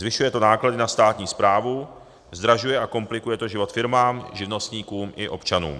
Zvyšuje to náklady na státní správu, zdražuje a komplikuje to život firmám, živnostníkům i občanům.